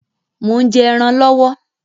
Mò ń jẹ́ ẹran lọwọ